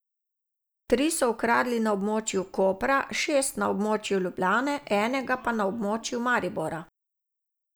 Tri so ukradli na območju Kopra, šest na območju Ljubljane, enega pa na območju Maribora.